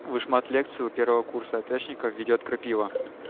вышмат лекции у первого курса атэшников ведёт крапива